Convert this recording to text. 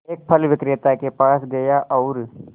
एक फल विक्रेता के पास गया और